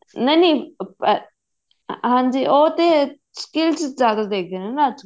ਨਹੀਂ ਨਹੀਂ ਹਾਂਜੀ ਉਹ ਤੇ skills ਜਿਆਦਾ ਦੇਖਦੇ ਨੇ ਅੱਜਕਲ